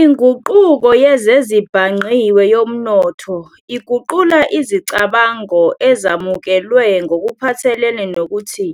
INguquko yezezibhangqiwe yomnotho iguqula izicabango ezamukelwe ngokuphathelene nokuthi